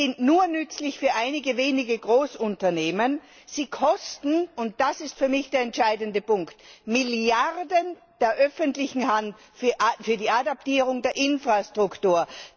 Sie sind nur nützlich für einige wenige Großunternehmen, und sie kosten und das ist für mich der entscheidende Punkt die öffentliche Hand Milliarden für die Adaptierung der Infrastruktur.